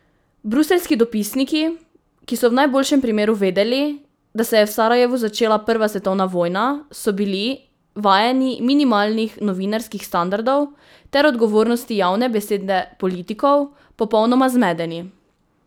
Bruseljski dopisniki, ki so v najboljšem primeru vedeli, da se je v Sarajevu začela prva svetovna vojna so bili, vajeni minimalnih novinarskih standardov ter odgovornosti javne besede politikov, popolnoma zmedeni!